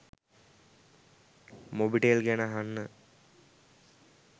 මොබිටෙල් ගැන අහන්න